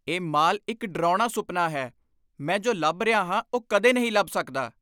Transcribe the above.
ਇਹ ਮਾਲ ਇੱਕ ਡਰਾਉਣਾ ਸੁਪਨਾ ਹੈ। ਮੈਂ ਜੋ ਲੱਭ ਰਿਹਾ ਹਾਂ ਉਹ ਕਦੇ ਨਹੀਂ ਲੱਭ ਸਕਦਾ।